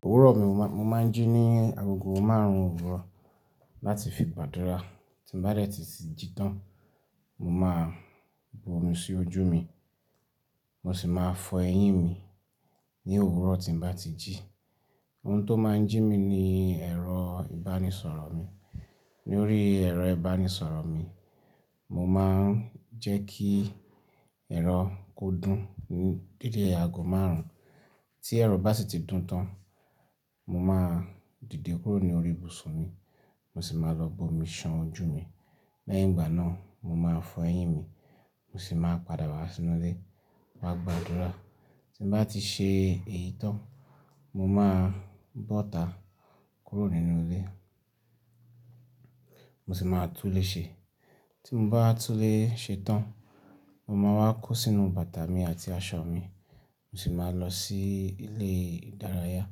Òwúrọ̀ mi mo máa ń jí ní aago márùn-ún òwúrọ̀ láti fi padura. Tí n bá dẹ̀ tí sì jí tán, mo máa bu omi sí ojú mi, mo sì máa fọ eyín mi ní òwúrọ̀ tí n bá ti jí. Ohun tó máa ń jí mi ni ẹ̀rọ ìbánisọ̀rọ̀ mi. Lórí ẹ̀rọ ìbánisọ̀rọ̀ mi, mo máa ń jẹ́ kí ẹ̀rọ kó dún ní dédé aago márùn-ún. Tí ẹ̀rọ bá sì ti dún tán, mo máa dìde kúrò ní orí ibùsùn mi, mo sì máa lọ bu omi ṣan ojú mi. Lẹ́yìn ìgbà náà, mo máa fọ eyín mi, mo sì máa padà wá sínú ilé máa gba àdúrà. Tí n bá ti ṣe èyí tán, mo máa bọ́ta kúrò nínú ilé, mo sì máa tún ilé ṣe. Tí mo bá tú ilé ṣe tán, mo máa wá kó sínú bàtà mi àti aṣọ mi, mo sì máa lọ sí ilé ìdárayá.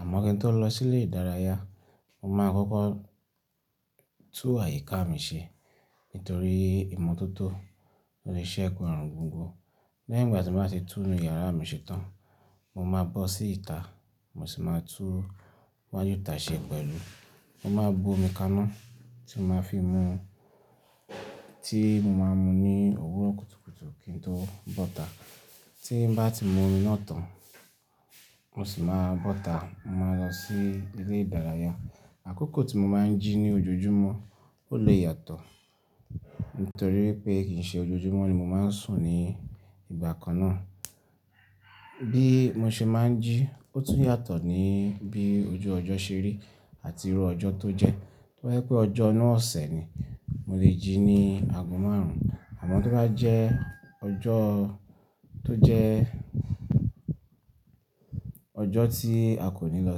Àmọ́ kí n tó lọ sí ilé ìdárayá, mo máa kọ́kọ́ tún àyíká mi ṣe nítorí ìmotótó lórí iṣẹ́ẹ́gun àrùn gbogbo. Lẹ́yìn ìgbà tí mo bá ti tú inú yàrá mi ṣe tán, mo máa bọ́ sí ìta, mo sì máa tú wájú ìta ṣe pẹ̀lú. Mo máa bu omi kaná tí mo máa fi mu, tí mo máa mu ní òwúrọ̀ kùtùkùtù kí n tó bọ́ta. Tí n bá ti mu omi náà tán, mo sì máa bọ́ta, mo máa lọ sí ilé ìdárayá. Àkókò tí mo máa ń jí ní ojoojúmọ́ ó lè yàtọ̀ nítorí pé kì í ṣe ojoojúmọ́ ni mo máa ń sùn ní ìgbà kan náà. Bí mo ṣe máa ń jí, ó tún yàtọ̀ ní bí ojú ọjọ́ ṣe rí àti irú ọjọ́ tó jẹ́. Tí wọ́n pé ọjọ́ náà ọ̀sẹ̀ ni, mo lè jí ní aago márùn-ún. Àmọ́ tí ó bá jẹ́ ọjọ́ tó jẹ́ ọjọ́ tí a kò ní lọ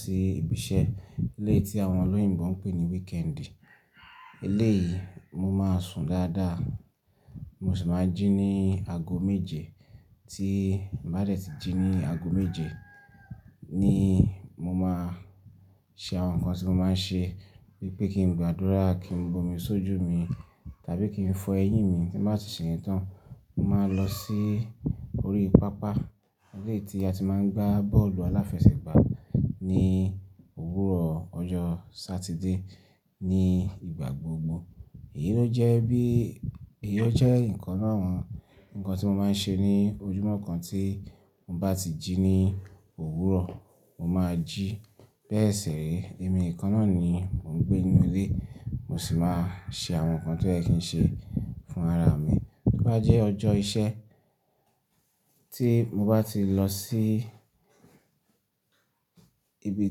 sí ibi iṣẹ́, ilé tí àwọn olóyìnbo ń pè ní weekend, ilé yìí mo máa sùn dáadáa, mo sì máa jí ní aago méje. Tí n bá dẹ̀ tí jí ní aago méje ni mo máa ṣe àwọn nǹkan tí mo máa ń ṣe bí i pé kí n gba àdúrà, kí n bu omi sójú mi tàbí kí n fọ eyín mi. Tí n bá ti ṣe èyí tán, mo máa lọ sí orí pápá ilé tí a ti máa ń gbá bọ́ọ̀lù aláfẹsẹ̀gbá ní òwúrọ̀ ọjọ́ Saturday ní ìgbà gbogbo. Èyí ló jẹ́ bí, èyí jẹ́ nǹkan náà nǹkan tí mo máa ń ṣe ní ojúmọ́ kan tí n bá ti jí ní òwúrọ̀, mo máa jí bẹ́ẹ̀ sì rí. Èmi nǹkan náà ni mò ń gbé nínú ilé, mo sì máa ṣe àwọn nǹkan tí ẹ kì í ṣe fún ara mi. Bí bá jẹ́ ọjọ́ iṣẹ́ tí mo bá ti lọ sí ibi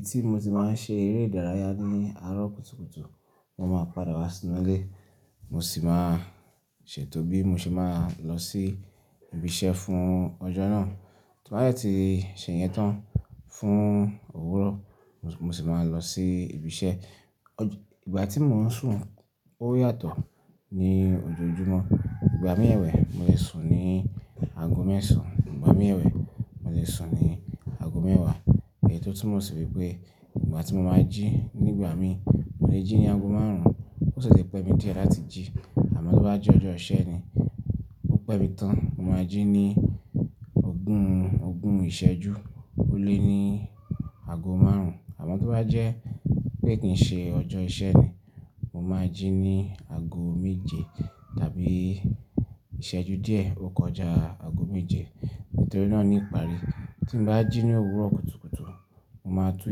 tí mo ti máa ń ṣe eré ìdárayá ní àárọ̀ kùtùkùtù, mo máa padà wá sínú ilé, mo sì máa ṣètò bí mo ṣe máa lọ sí ibi iṣẹ́ fún ọjọ́ náà. Tí n bá dẹ̀ tí ṣe èyí tán fún òwúrọ̀, mo sì máa lọ sí ibi iṣẹ́. Ọjọ́-- ìgbà tí mò ń sùn ó yàtọ̀ ní ojoojúmọ́. Ìgbà míẹ̀wẹ̀, mo lè sùn ní aago mẹ́sàn, ìgbà míẹ̀wẹ̀, mo lè sùn ní aago mẹ́wàá. Èyí tó túmọ̀ sí pé ìgbà tí mo máa ń jí nígbà mí, mo lè jí ní aago márùn-ún, ó ṣẹ̀ṣẹ̀ pẹ́ mi díẹ̀ láti jí. Àmọ́ tí ó bá jẹ́ ọjọ́ iṣẹ́ ni, ó pẹ́ mi tán, mo máa jí ní ogún, ogún ìṣẹ́jú ó lé ní aago márùn-ún. Àmọ́ tí ó bá jẹ́ pé kì í ṣe ọjọ́ iṣẹ́ ni, mo máa jí ní aago méje tàbí ìṣẹ́jú díẹ̀ ó kọjá aago méje nítorí náà ni ìparí. Tí n bá jí ní òwúrọ̀ kùtùkùtù, mo máa tú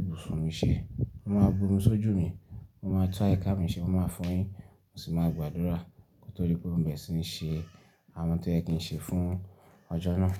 ibùsùn mi ṣe, mo máa bu omi sójú mi, mo máa tú àyíká mi ṣe, mo máa fọ eyín, mo sì máa gba àdúrà nítorí pé mò ń bẹ̀rẹ̀ sí ní ṣe àwọn tí ẹ kì í ṣe fún ọjọ́ náà.